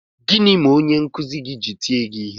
Gịnị mere onye nkụzi gị ji tie gị ihe?